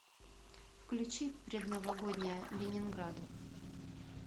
включи предновогодняя ленинграда